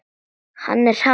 Hann er hraður.